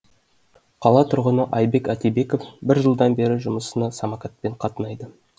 қала тұрғыны айбек атибеков бір жылдан бері жұмысына самокатпен қатынайды